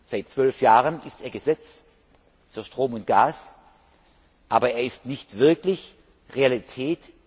Seit 12 Jahren ist er Gesetz für Strom und Gas, aber er ist nicht wirklich Realität.